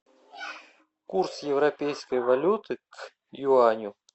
курс европейской валюты к юаню